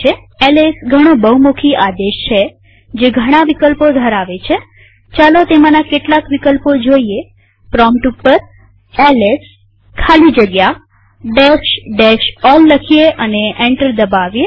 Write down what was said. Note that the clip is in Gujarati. એલએસ ઘણો બહુમુખી આદેશ છે જે ઘણા વિકલ્પો ધરાવે છેચાલો તેમાંના કેટલાક વિકલ્પો જોઈએપ્રોમ્પ્ટ ઉપર એલએસ ખાલી જગ્યા all લખીએ અને એન્ટર દબાવીએ